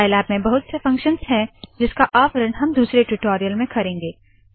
Scilab में बहुत से फंक्शन्स है जिसका आवरण हम दुसरे टूटोरियल में करेंगे